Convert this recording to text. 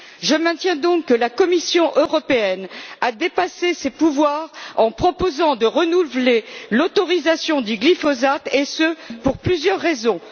Je maintiens donc que la Commission européenne a outrepassé ses pouvoirs en proposant de renouveler l'autorisation du glyphosate et ce, pour plusieurs raisons.